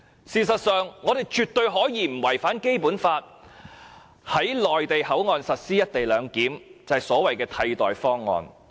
事實上，我們絕對可以在不違反《基本法》的情況下，在內地口岸實施"一地兩檢"，而這就是所謂的替代方案。